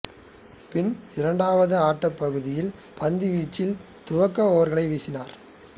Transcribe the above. பின் இரண்டாவது ஆட்டப் பகுதியின் பந்துவீச்சில் துவக்க ஓவர்களை வீசினார்